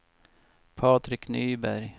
Patrik Nyberg